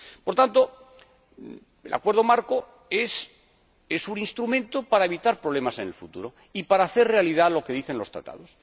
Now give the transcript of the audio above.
Por tanto, el Acuerdo marco es un instrumento para evitar problemas en el futuro y hacer realidad lo que dicen los Tratados.